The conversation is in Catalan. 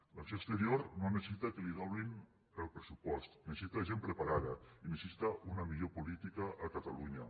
l’acció exterior no necessita que li doblin el pressupost necessita gent preparada i necessita una millor política a catalunya